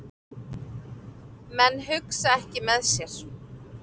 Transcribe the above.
Menn hugsa ekki með sér